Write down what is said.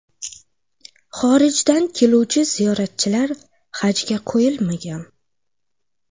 Xorijdan keluvchi ziyoratchilar hajga qo‘yilmagan.